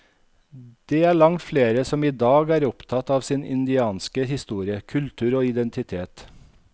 Det er langt flere som idag er opptatte av sin indianske historie, kultur og identitet.